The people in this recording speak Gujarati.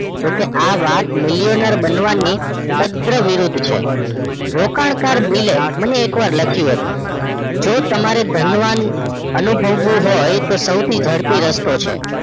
જોકે આ વાત મિલિયન બનવાની તદન વિરુદ્ધ છે રોકાણ કાર બિલે મને એક વાર લખ્યું હતું જો તમારે ધનવાન અનુભવું હોય તો સૌથી જડપી રસ્તો છે